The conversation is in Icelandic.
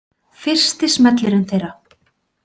Fyrsti smellurinn þeirra.